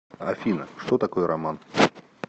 афина что такое роман